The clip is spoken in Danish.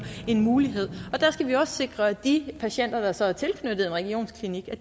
en mulighed der skal vi også sikre at de patienter der så er tilknyttet en regionsklinik